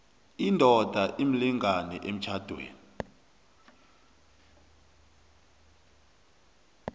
indoda imlingani emtjhadweni